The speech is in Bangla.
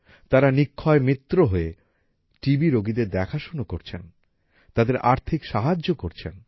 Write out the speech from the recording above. তারা নিক্ষয় মিত্র হয়ে টি বি রোগীদের দেখাশোনা করছেন তাদের আর্থিক সাহায্য করছেন